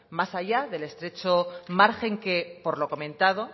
más allá del estrecho margen que por lo comentado